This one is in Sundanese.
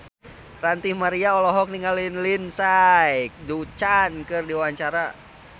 Ranty Maria olohok ningali Lindsay Ducan keur diwawancara